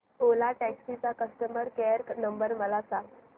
ओला taxi चा customer care number मला सांग